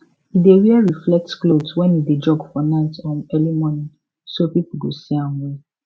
e dey wear reflect cloth when e dey jog for night or early morning so people go see am well